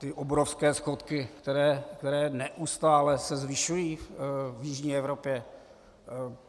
Ty obrovské schodky, které se neustále zvyšují v jižní Evropě.